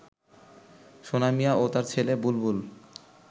সোনা মিয়া ও তার ছেলে বুলবুল